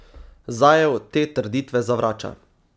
Zaev te trditve zavrača.